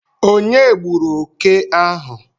Onye gburu oke ahu?